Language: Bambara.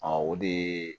o de ye